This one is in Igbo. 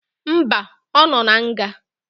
Mba, ọ nọ na nga